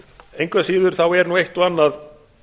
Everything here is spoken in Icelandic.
engu að síður er eitt og annað